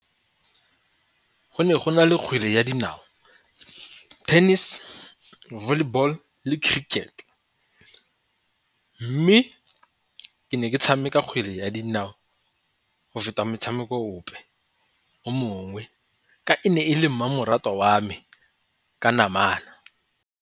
Go ne go na le kgwele ya dinao, tennis, volleyball, le cricket mme ke ne ke tshameka kgwele ya dinao go feta metshameko ope o mongwe ka e ne e le mmamoratwa wa me ka namana.